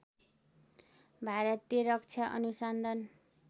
भारतीय रक्षा अनुसन्धान